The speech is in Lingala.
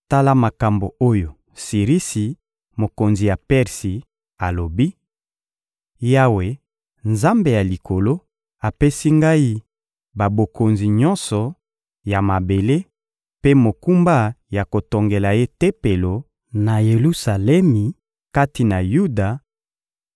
«Tala makambo oyo Sirisi, mokonzi ya Persi, alobi: ‹Yawe, Nzambe ya Likolo, apesi ngai babokonzi nyonso ya mabele mpe mokumba ya kotongela Ye Tempelo, na Yelusalemi kati na Yuda.